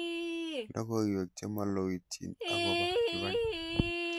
Logoywek chemaloityin agoba kibaki